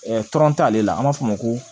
t'ale la an b'a fɔ o ma ko